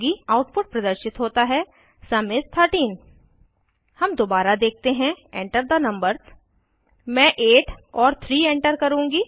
output प्रदर्शित होता है सुम इस 13 हम दोबारा देखते हैं Enter थे नंबर्स मैं 8 और 3 एंटर करुँगी